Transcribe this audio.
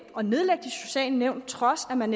og nedlægge de sociale nævn på trods af at man